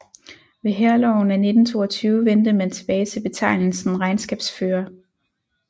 Ved Hærloven af 1922 vendte man tilbage til betegnelsen regnskabsfører